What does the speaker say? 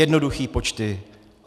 Jednoduchý počty.